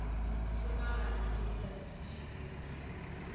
hlomagana o sa thiše kerekeng